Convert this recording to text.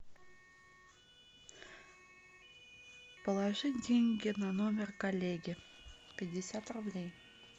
положить деньги на номер коллеги пятьдесят рублей